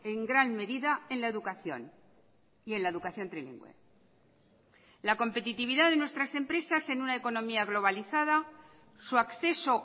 en gran medida en la educación y en la educación trilingüe la competitividad de nuestras empresas en una economía globalizada su acceso